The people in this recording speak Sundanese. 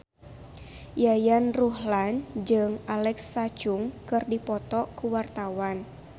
Yayan Ruhlan jeung Alexa Chung keur dipoto ku wartawan